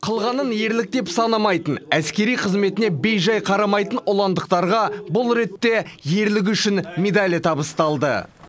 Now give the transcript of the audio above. қылғанын ерлік деп санамайтын әскери қызметіне бейжай қарамайтын ұландықтарға бұл ретте ерлігі үшін медалі табысталды